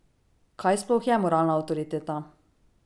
Kaj sploh je moralna avtoriteta?